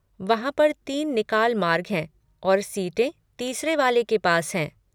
वहाँ पर तीन निकाल मार्ग हैं और सीटें तीसरे वाले के पास हैं।